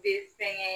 Be fɛnkɛ